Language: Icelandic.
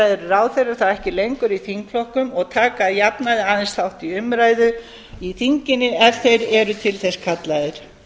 eru ráðherrar þá ekki lengur í þingflokkum og taka að jafnaði aðeins þátt í umræðu í þinginu ef þeir eru til þess kallaðir